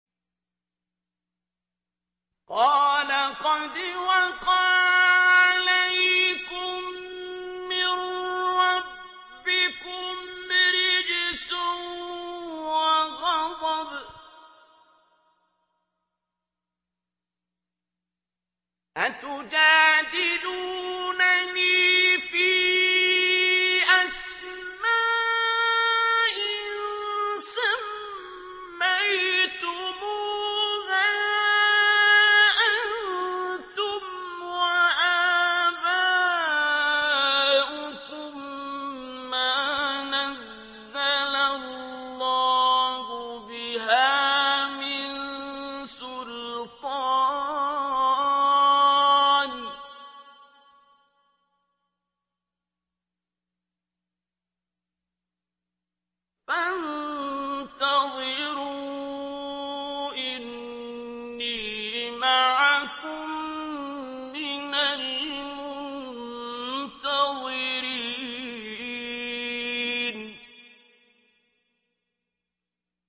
قَالَ قَدْ وَقَعَ عَلَيْكُم مِّن رَّبِّكُمْ رِجْسٌ وَغَضَبٌ ۖ أَتُجَادِلُونَنِي فِي أَسْمَاءٍ سَمَّيْتُمُوهَا أَنتُمْ وَآبَاؤُكُم مَّا نَزَّلَ اللَّهُ بِهَا مِن سُلْطَانٍ ۚ فَانتَظِرُوا إِنِّي مَعَكُم مِّنَ الْمُنتَظِرِينَ